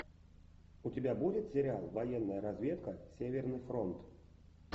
у тебя будет сериал военная разведка северный фронт